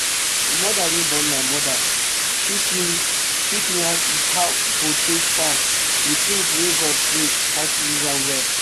d mother wey born my mother teach me teach me how i go take farm with things wey god create how to use am well